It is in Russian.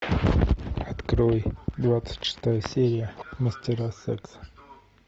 открой двадцать шестая серия мастера секса